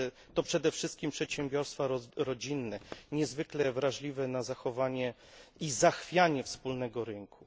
To przede wszystkim przedsiębiorstwa rodzinne, niezwykle wrażliwe na zachowanie i zachwianie wspólnego rynku.